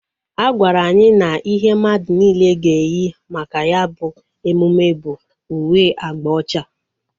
A gwara anyị na ihe mmadụ niile ga eyi maka ya bụ emume bụ uwe agba ocha